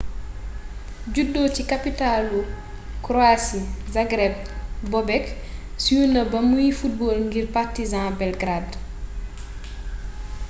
juddo ci kaptalu kroasi zagreb bobek siiw na ba muy football ngir partizan belgrade